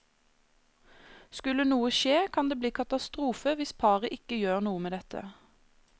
Skulle noe skje, kan det bli katastrofe hvis paret ikke gjør noe med dette.